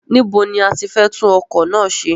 Níbo ni a ti fẹ́ tún ọkọ̀ náà ṣe?